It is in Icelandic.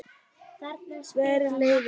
Verri leiðin.